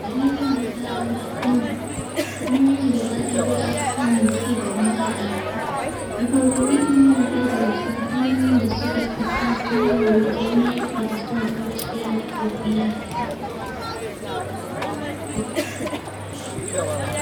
hanyoyin da za a bi akan hanyoyin da za a bi akan ci gaban alladu na farko ilimi na daya daga cikin hanyoyin da suka fi tasiri wajen yaki da son zuciya na kabila da kuma inganta fahimtan al'adu